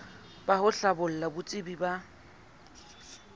ba ho hlabolla botsebi ba